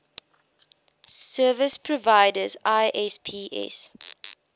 service providers isps